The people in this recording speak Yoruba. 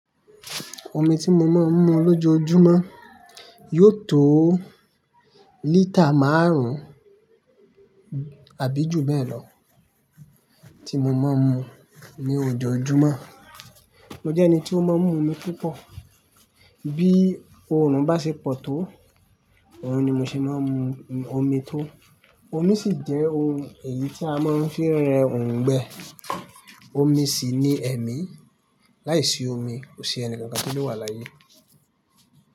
Omi tí mo máa ń mu lójoójúmọ́ yóò tó lítà márùn-ún àbí ju bẹ́ẹ̀ lọ tí mo máa ń mu ní ojoojúmọ́. Mo jẹ́ ẹni tí ó máa ń mu omi púpọ̀, bí òòrùn bá ṣe pọ̀ tó, òòrùn ni mo ṣe máa ń mu omi tó. Omi sì jẹ́ òun èyí tí a máa ń fi ń rẹ òǹgbẹ. Omi sì ní ẹ̀mí, láìsí omi kò sí ẹnìkan kan tí ó lè wà láyé.